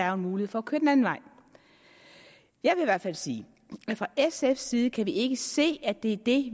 er mulighed for at køre en anden vej jeg vil i hvert fald sige at fra sfs side kan vi ikke se at det er det